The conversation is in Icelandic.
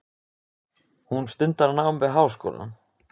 Hún stundar nám við háskólann.